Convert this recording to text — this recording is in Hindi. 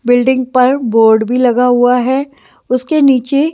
बिल्डिंग पर बोर्ड भी लगा हुआ है उसके नीचे--